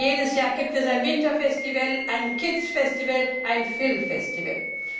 Jedes Jahr gibt es ein Winterfestival, ein Kidsfestival, ein Filmfestival.